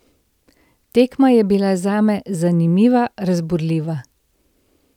Tekma je bila zame zanimiva, razburljiva.